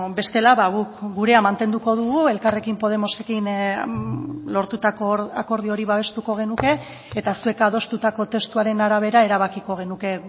bestela guk gurea mantenduko dugu elkarrekin podemosekin lortutako akordio hori babestuko genuke eta zuek adostutako testuaren arabera erabakiko genuke